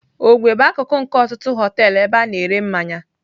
Ogwe bụ akụkụ nke ọtụtụ họteelụ ebe a na-ere mmanya.